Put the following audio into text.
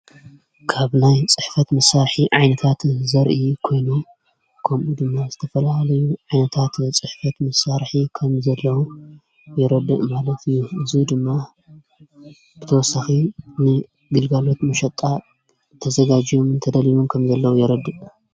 ካብ ናይ ጽሕፈት ምሳርሒ ዓይነታት ዘርኢ ኮይኖ ከምኡ ድማ ዝተፈልሃለዩ ዓይነታት ጽሕፈት ምሳርሒ ከም ዘለዉ የረድእ ማለት ዩ እዙ ድማ ብተወሳኺ ን ግልጋሎት ምሸጣእ ተዘጋጅዮም ንተደልዩን ከም ዘለዉ የረድእ።